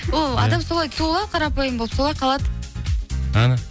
ол адам солай туылады қарапайым болып солай қалады әне